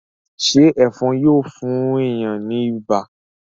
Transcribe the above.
ṣe Ẹ̀fọ̀n Yíò fún èyán ní ibà?